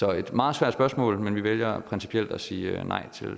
er et meget svært spørgsmål men vi vælger principielt at sige nej